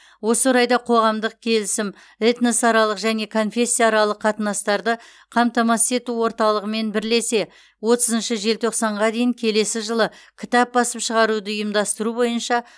осы орайда қоғамдық келісім этносаралық және конфессияаралық қатынастарды қамтамасыз ету орталығымен бірлесе отыз желтоқсанға дейін келесі жылы кітап басып шығаруды ұйымдастыру бойынша